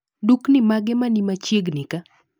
Dukni mage manimachiegni ka?